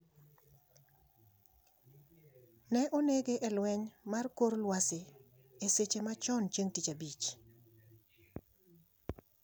ne onege e lweny mar kor lwasi e seche machon chineg' tich abich